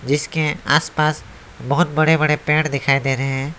जिसके आसपास बहोत बड़े बड़े पेड़ दिखाई दे रहे है।